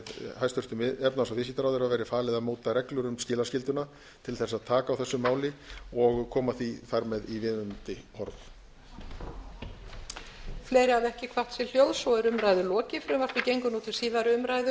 hæstvirtur efnahags og viðskiptaráðherra verði falið að móta reglur um skilaskylduna til að taka á þessu máli og koma því þar með í viðunandi horf